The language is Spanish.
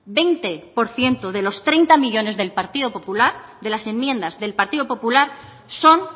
veinte por ciento de los treinta millónes del partido popular de las enmiendas del partido popular son